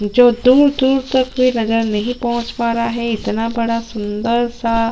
जो दूर - दूर तक भी नजर नहीं पहुँच पा रहा हैं इतना बडा सुंदर सा --